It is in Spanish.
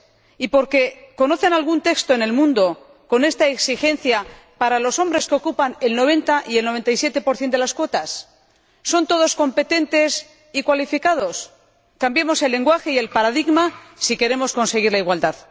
Y porque ¿conocen algún texto en el mundo con esta exigencia para los hombres, que ocupan el 90 y el 97 de las cuotas? ¿Son todos competentes y cualificados? Cambiemos el lenguaje y el paradigma si queremos conseguir la igualdad.